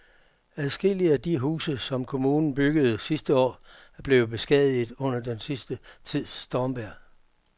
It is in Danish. Adskillige af de huse, som kommunen byggede sidste år, er blevet beskadiget under den sidste tids stormvejr.